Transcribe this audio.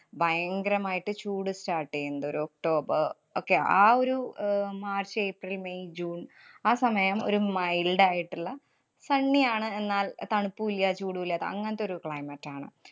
ഭയങ്കരമായിട്ട് ചൂട് start ചെയ്യുണ്ട് ഒരു ഒക്ടോബര്‍ ഒക്കെ. ആ ഒരു അഹ് മാര്‍ച്ച് ഏപ്രില്‍ മേയ് ജൂണ്‍ ആ സമയം ഒരു mild ആയിട്ടുള്ള sunny ആണ്. എന്നാല്‍ തണുപ്പൂല്ല, ചൂടൂല്ലാത്ത അങ്ങനത്തെ ഒരു climate ആണ്.